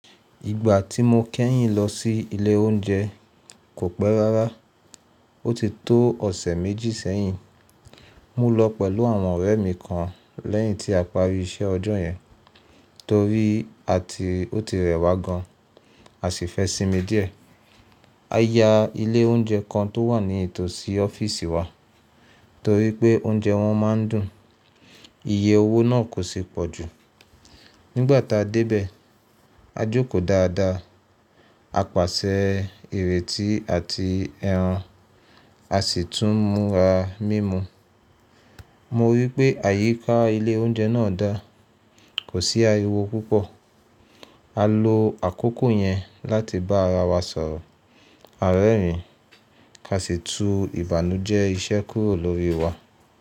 Ìgbà tí mo kẹ́yìn lọ sí ilé oúnjẹ kò pẹ́ rárá. Ó ti tó ọ̀sẹ̀ méjì sẹ́yìn, mo lọ pẹ̀lú àwọn ọ̀rẹ́ mi kan lẹ́yìn tí a pari iṣẹ́ ọjọ́ yẹn torí a ti, ó ti rẹwà gan-an a sì fẹ́ sinmi díẹ̀. A ya ilé oúnjẹ kan tó wà nítòsí ọ́fíìsì wa torí pé oúnjẹ wọn má ń dùn, iye owó náà kò sì pọ̀ jù. Nígbà tá a dé bẹ̀, a jókòó dáadáa, a pàṣẹ ìrètí àti ẹran, a sì tún múra mímu. Mo rí i pé àyíká ilé oúnje náà dáa, kò sí ariwo púpọ̀. A lo àkókò yẹn láti bá ara wa sọ̀rọ̀, àrẹ́rìn-ín ka sì tú ìbànújẹ́ iṣẹ́ kúrò lórí wa.